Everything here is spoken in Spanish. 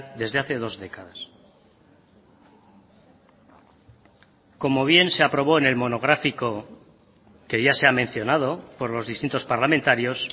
desde hace dos décadas como bien se aprobó en el monográfico que ya se ha mencionado por los distintos parlamentarios